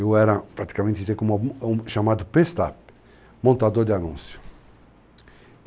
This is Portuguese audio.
Eu era praticamente chamado Pestá, montador de anúncios.